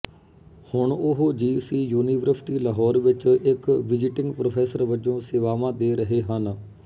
ਹੁਣ ਉਹ G C university Lahore ਵਿੱਚ ਇੱਕ ਵਿਜ਼ਿਟਿੰਗ ਪ੍ਰੋਫੈਸਰ ਵਜੋਂ ਸੇਵਾਵਾਂ ਦੇ ਰਹੇ ਹਨ